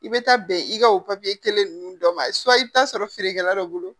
I bɛ taa bɛn i ka o kelen ninnu dɔ ma i bɛ taa sɔrɔ feerekɛla dɔ bolo